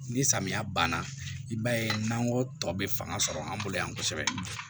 Ni samiya banna i b'a ye n'an ko tɔ bɛ fanga sɔrɔ an bolo yan kosɛbɛ